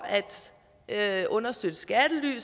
at understøtte skattely